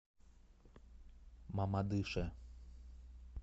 мамадыше